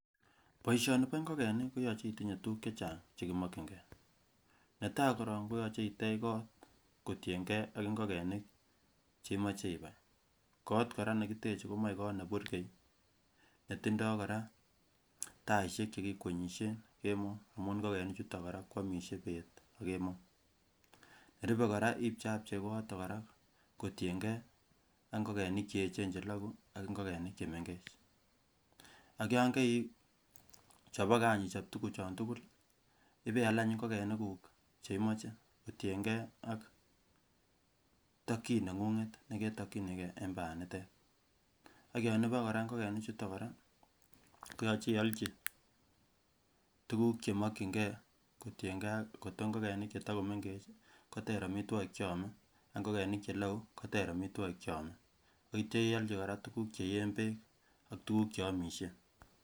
Boishoni boo ing'okenik koyoche itinyee tukuk chechang chekimokying'e, netaa korong koyoche iteech koot kotieng'ee ak ing'okenik chemoche ibaii, koot kora nekiteche komoe koot neburkei netindo kora taishek chekikwenyishen kemoo, amuun ing'okenichuton kora kwomishe beet akemoo , nerube kora ibcheabchei koyoton kora kotieng'ee ak ing'okenik cheechen chelokuu ak ing'okenik chemeng'ech, ak yoon koichoboke aany ichob tukuchon tukul ibeaal aany ing'okenikuk cheimoche kotieng'ee ak tokyin neng'ung'et neketokyinikee en banitet, ak yoon iboe kora ing'okenichuton kora koyoche iolchi tukuk chemokying'ee kotienkee ak kot ko ing'okenik chetakomeng'ech koteer amitwokik cheomee ak ing'okenik chelokuu koteer amitwokik cheomee, akityo iolchi tukuk cheyeen beek ak tukuk cheomishe.